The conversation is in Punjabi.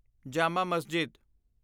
ਜਾਮਾ ਮਸਜਿਦ